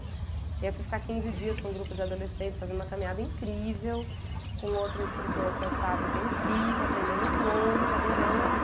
E eu fui ficar quinze dias com um grupo de adolescentes, fazendo uma caminhada incrível, com outro instrutor, que é o Fábio, que é incrível, aprendendo um monte, adorando.